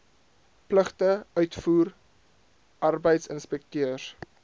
pligte uitvoer arbeidsinspekteurs